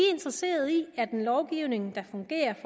interesserede i en lovgivning der fungerer